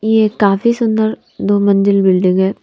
ये काफी सुंदर दो मंजिल बिल्डिंग है।